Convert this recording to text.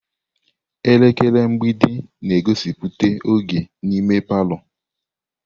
Elekere mgbidi na-egosipụta oge n'ime palọ.